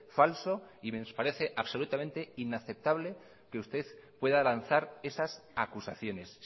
falso y nos parece absolutamente inaceptable que usted pueda lanzar esas acusaciones